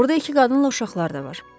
Orda iki qadınla uşaqlar da var.